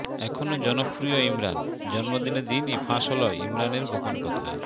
এখনও জনপ্রিয় ইমরান জন্মদিনের দিনই ফাঁস হল ইমরানের গোপন কথা